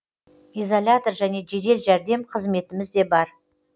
изолятор және жедел жәрдем қызметіміз де бар